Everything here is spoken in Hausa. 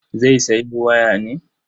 Zai sayo waya ne?